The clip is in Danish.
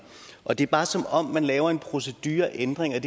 og det er bare som om man her laver en procedureændring jeg